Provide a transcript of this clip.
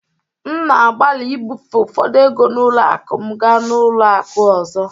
M na-agbalị ibufe ụfọdụ ego n'ụlọ akụ m gaa n'ụlọ akụ ọzọ